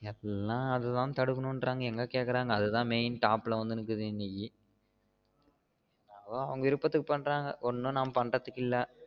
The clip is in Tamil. எல்லாம் அத தான் தடுக்கணும்றாங்க எங்க கேகுரங்க இணைக்கு அது தான் main top மேல வந்து நிக்கி இன்னைக்கு எதோ அவங்க விருப்பதுக்கு பண்றாங்க ஒனும் நம்ம பண்றதுகிள்ள